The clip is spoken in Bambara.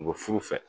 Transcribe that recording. U bɛ furu fɛ